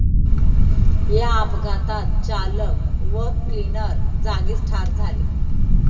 या अपघातात चालक व क्लिनर जागीच ठार झाले.